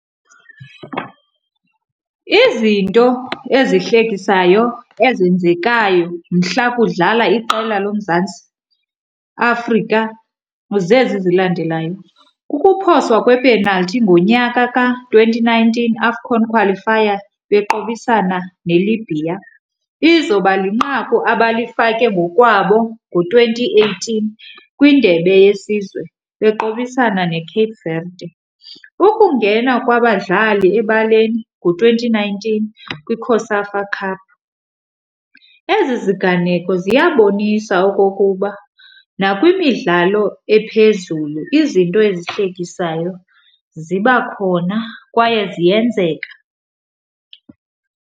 Izinto ezihlekisayo ezenzekayo mhla kudlala iqela loMzantsi Afrika zezi zilandelayo, kukuphoswa kwepenalthi ngonyaka ka-twenty nineteen AFCON Qualifier beqobisana neLibya. Izoba linqaku abalifake ngokwabo ngo-twenty eighteen kwiNdebe yeSizwe beqobisana neCape Verde, Ukungena kwabadlali ebaleni ngo-twenty nineteen kwiCOSAFA Cup. Ezi ziganeko ziyabonisa okokuba nakwimidlalo ephezulu izinto ezihlekisayo ziba khona kwaye ziyenzeka.